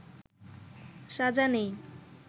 সাজা নেই